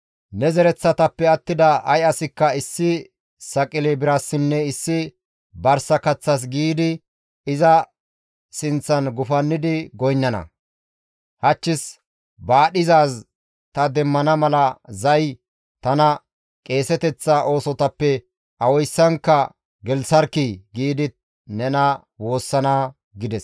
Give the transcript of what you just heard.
Ne zereththatappe attida ay asikka issi saqile birassinne issi barsa kaththas giidi iza sinththan gufannidi goynnana; ‹Hachchis baadhizaaz ta demmana mala zay tana qeeseteththa oosotappe awayssankka gelththarkkii!› giidi nena woossana» gides.